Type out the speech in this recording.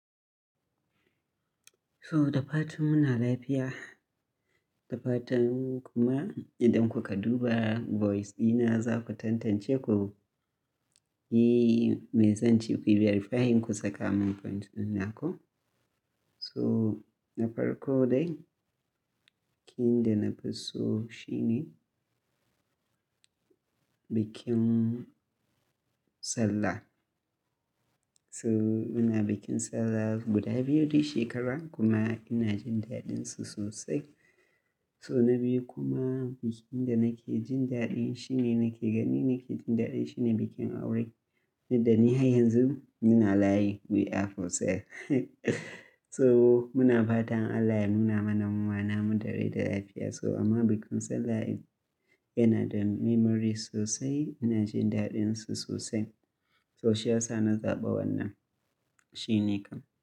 So da fatan muna lafiya, da fatan kuma idan kuka duba voice dina za ku tantance ku yi mai zan ce, kuyo verifying ku saka min point dina ko. So na farko dai, bikin da na fi so shine bikin Sallah. So muna bikin Sallah guda biyu duk shekara kuma ina jin daɗin su sosai. So na biyu kuma, bikin da nake jin daɗin shine nake gani nake jin daɗin shine bikin aure. Da ni har yanzu muna layi we are for sale. So muna fatan Allah ya nuna manamuma namu da rai da lafiya. So amma bikin Sallah yana da memory sosai, ina jin daɗin su sosai. So shi ya sa na zaɓa wannan shine kam.